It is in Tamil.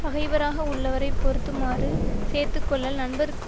பகைவராக உள்ளவரைப் பொருத்துமாறு சேர்த்து கொள்ளல் நண்பர்க்கு